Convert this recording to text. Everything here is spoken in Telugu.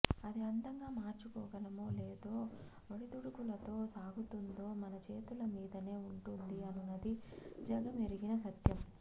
అది అందంగా మార్చుకోగలమో లేదా ఒడిదుడుకులతో సాగుతుందో మన చేతుల మీదనే ఉంటుంది అనునది జగమెరిగిన సత్యం